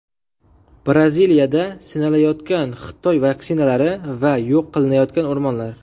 Braziliyada sinalayotgan Xitoy vaksinalari va yo‘q qilinayotgan o‘rmonlar.